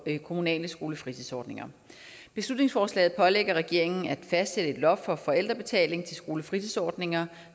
kommunale skolefritidsordninger beslutningsforslaget pålægger regeringen at fastsætte et loft for forældrebetaling til skolefritidsordninger